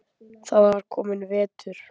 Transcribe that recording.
Það var kominn vetur.